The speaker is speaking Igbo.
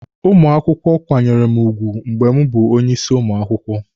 Ụmụ akwụkwọ kwanyere mụ ugwu mgbe m bụ onye isi ụmụ akwụkwọ.